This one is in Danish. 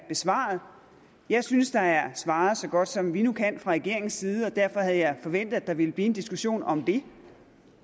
besvaret jeg synes der er svaret så godt som vi nu kan fra regeringens side og derfor havde jeg forventet at der ville blive en diskussion om det